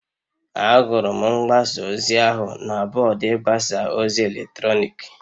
Ahụrụ m mgbasa ozi ahụ na bọọdụ ịgbasa ozi eletrọnịkị